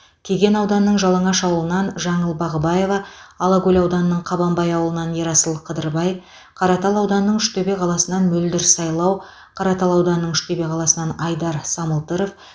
кеген ауданының жалаңаш ауылынан жаңыл бағыбаева алакөл ауданының қабанбай ауылынан ерасыл қыдырбай қаратал ауданының үштөбе қаласынан мөлдір сайлау қаратал ауданының үштөбе қаласынан айдар самылтыров